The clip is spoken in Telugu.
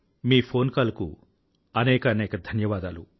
మీ ఫోన్ కాల్ కు అనేకానేక ధన్యవాదాలు